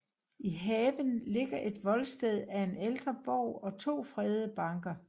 I haven ligger et voldsted af en ældre borg og to fredede banker